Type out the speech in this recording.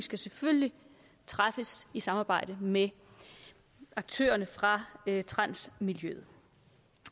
skal selvfølgelig træffes i samarbejde med aktørerne fra transmiljøet